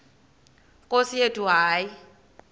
nkosi yethu hayi